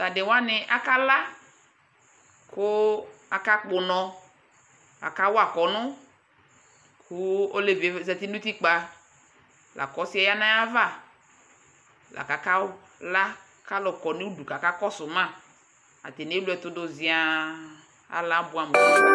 Tʋ adɩ wanɩ akala kʋ akakpɔ ʋnɔ Akawa kɔnʋ kʋ olevi yɛ zati nʋ utikpǝ la kʋ ɔsɩ yɛ ya nʋ ayava la kʋ akaw la kʋ alʋ kɔ nʋ udu kakɔsʋ ma Atanɩ ewle ɛtʋ dʋ zɩaa Ala abʋɛamʋ